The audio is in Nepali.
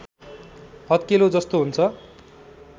हत्केलो जस्तो हुन्छ